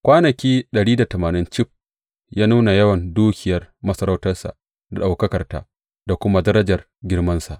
Kwanaki cif, ya nuna yawan dukiyar masarautarsa, da ɗaukakarta da kuma darajar girmansa.